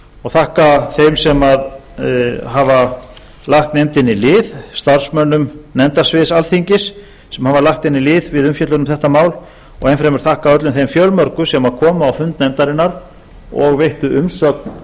og þakka þeim sem hafa lagt nefndinni lið starfsmönnum nefndasviðs alþingis sem hafa lagt henni lið við umfjöllun um þetta mál og enn fremur þakka öllum þeim fjölmörgu sem komu á fund nefndarinnar og veittu